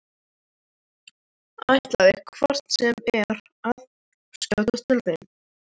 Ætlaði hvort sem er að skjótast til þín.